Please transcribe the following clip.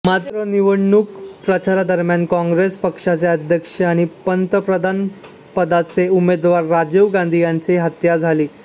मात्र निवडणूक प्रचारादरम्यान काँग्रेस पक्षाचे अध्यक्ष आणि पंतप्रधानपदाचे उमेदवार राजीव गांधी यांची हत्या झाली